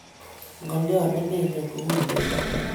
ngaliot ne mengen ko u imendo